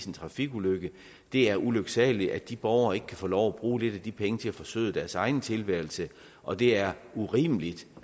en trafikulykke det er ulyksaligt at de borgere ikke kan få lov at bruge lidt af de penge til at forsøde deres egen tilværelse og det er urimeligt